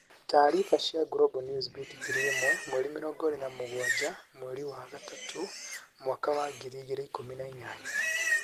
Taariba cia Global Newsbeat 1000 27/03/2018.